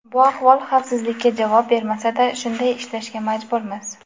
Bu ahvol xavfsizlikka javob bermasa-da, shunday ishlashga majburmiz.